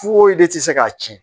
Fo e de tɛ se k'a tiɲɛ